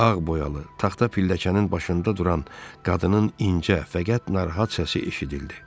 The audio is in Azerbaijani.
Ağ boyalı taxta pilləkənin başında duran qadının incə, fəqət narahat səsi eşidildi.